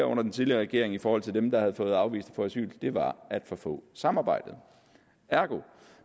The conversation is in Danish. under den tidligere regering i forhold til dem der havde fået afvist at få asyl det var at for få samarbejdede ergo